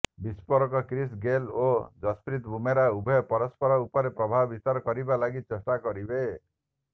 ବିସ୍ଫୋରକ Chris Gayle ଓ ଯଶପ୍ରୀତ ବୁମରା ଉଭୟ ପରସ୍ପର ଉପରେ ପ୍ରଭାବ ବିସ୍ତାର କରିବା ଲାଗି ଚେଷ୍ଟା କରିବେ